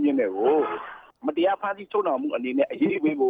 မြင့်တို့ကို မတရားဖမ်းဆီးချုပ်နှောင်မှုနဲ့ အရေးယူပေးဖို